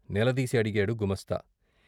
నిలదీసి అడిగాడు గుమస్తా.